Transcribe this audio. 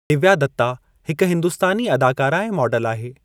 दिव्या दत्ता हिक हिंदुस्तानी अदाकारा ऐं मॉडल आहे।